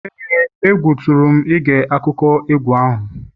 ee, egwu tụrụ m ige akụkọ egwu ahụ